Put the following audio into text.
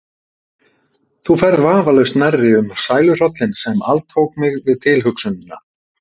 Þú ferð vafalaust nærri um sæluhrollinn sem altók mig við tilhugsunina.